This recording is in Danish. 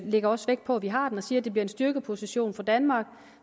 lægger også vægt på at vi har den og siger at det bliver en styrkeposition for danmark